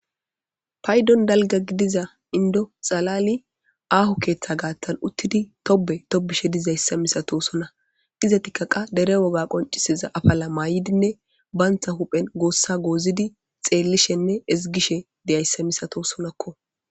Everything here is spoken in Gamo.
paydon dalga gidiza indo xalali aahu keeththa gaatan uttidi tobe tobishe dizayssa misato sona iza tikkaqa dere woga qonciseza afala maayidinne baantha huphen goossa goozidi xeellishenne ezigishe deyayssa misato sonakko